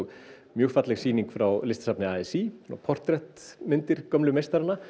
mjög falleg sýning frá Listasafni a s í portrettmyndir gömlu meistaranna